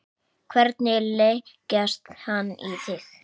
Hvernig leggst hann í þig?